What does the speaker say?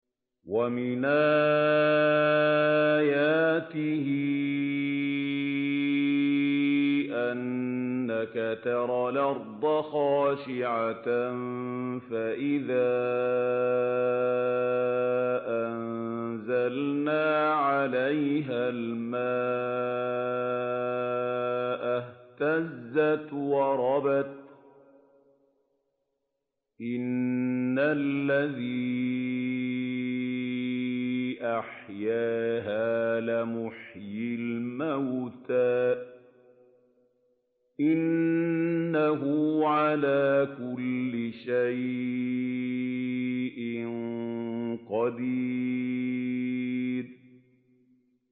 وَمِنْ آيَاتِهِ أَنَّكَ تَرَى الْأَرْضَ خَاشِعَةً فَإِذَا أَنزَلْنَا عَلَيْهَا الْمَاءَ اهْتَزَّتْ وَرَبَتْ ۚ إِنَّ الَّذِي أَحْيَاهَا لَمُحْيِي الْمَوْتَىٰ ۚ إِنَّهُ عَلَىٰ كُلِّ شَيْءٍ قَدِيرٌ